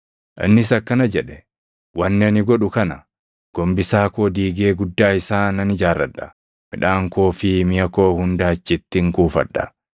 “Innis akkana jedhe; ‘Wanni ani godhu kana; gombisaa koo diigee guddaa isaa nan ijaarradha; midhaan koo fi miʼa koo hunda achittin kuufadha.